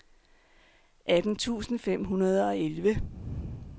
atten tusind fem hundrede og elleve